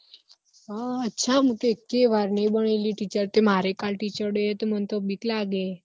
અચ્છા મુ તો અએક્કે વાર નહિ બનેલી તે મારે teacher day હે તો માનતો બીક લાગે હે